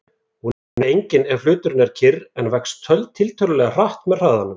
Hún er því engin ef hluturinn er kyrr en vex tiltölulega hratt með hraðanum.